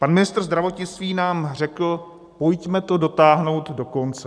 Pan ministr zdravotnictví nám řekl: pojďme to dotáhnout do konce.